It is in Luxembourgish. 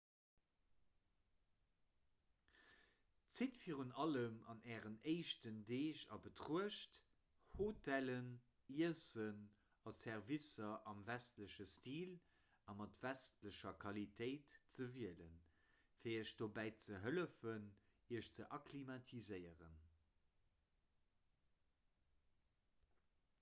zitt virun allem an ären éischten deeg a betruecht hotellen iessen a servicer am westleche stil a mat westlecher qualitéit ze wielen fir iech dobäi ze hëllefen iech ze akklimatiséieren